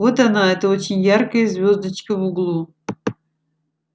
вот она эта очень яркая звёздочка в углу